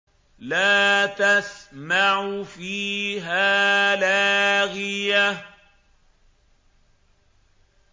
لَّا تَسْمَعُ فِيهَا لَاغِيَةً